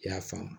I y'a faamu